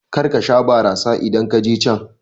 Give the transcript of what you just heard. Karka sha barasa idan kaje can